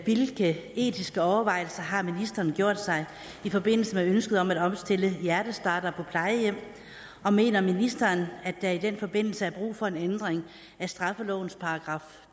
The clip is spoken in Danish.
hvilke etiske overvejelser har ministeren gjort sig i forbindelse med ønsket om at opstille hjertestartere plejehjem og mener ministeren at der i den forbindelse er brug for en ændring af straffelovens §